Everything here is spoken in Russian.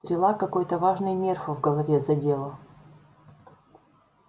стрела какой-то важный нерв в голове задела